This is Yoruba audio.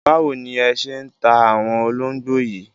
Báwo ni ẹ ṣé ń ta àwọn ológbò yìí?